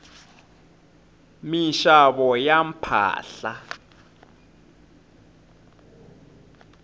minxavo ya mpahla